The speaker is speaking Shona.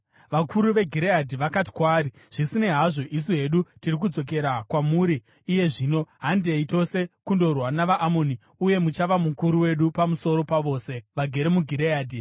Vakuru veGireadhi vakati kwaari, “Zvisinei hazvo, isu hedu tiri kudzokera kwamuri iye zvino; handei tose kundorwa navaAmoni, uye muchava mukuru wedu pamusoro pavose vagere muGireadhi.”